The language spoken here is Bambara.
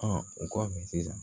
o kɔfɛ sisan